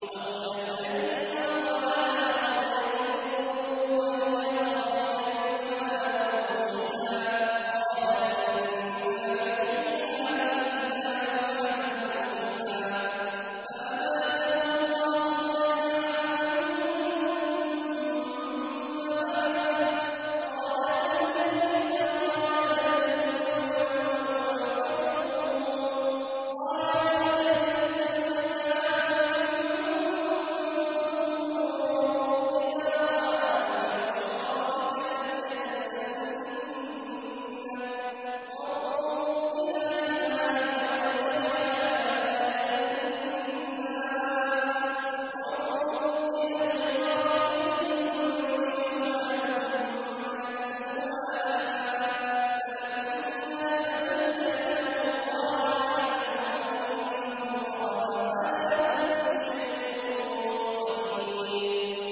أَوْ كَالَّذِي مَرَّ عَلَىٰ قَرْيَةٍ وَهِيَ خَاوِيَةٌ عَلَىٰ عُرُوشِهَا قَالَ أَنَّىٰ يُحْيِي هَٰذِهِ اللَّهُ بَعْدَ مَوْتِهَا ۖ فَأَمَاتَهُ اللَّهُ مِائَةَ عَامٍ ثُمَّ بَعَثَهُ ۖ قَالَ كَمْ لَبِثْتَ ۖ قَالَ لَبِثْتُ يَوْمًا أَوْ بَعْضَ يَوْمٍ ۖ قَالَ بَل لَّبِثْتَ مِائَةَ عَامٍ فَانظُرْ إِلَىٰ طَعَامِكَ وَشَرَابِكَ لَمْ يَتَسَنَّهْ ۖ وَانظُرْ إِلَىٰ حِمَارِكَ وَلِنَجْعَلَكَ آيَةً لِّلنَّاسِ ۖ وَانظُرْ إِلَى الْعِظَامِ كَيْفَ نُنشِزُهَا ثُمَّ نَكْسُوهَا لَحْمًا ۚ فَلَمَّا تَبَيَّنَ لَهُ قَالَ أَعْلَمُ أَنَّ اللَّهَ عَلَىٰ كُلِّ شَيْءٍ قَدِيرٌ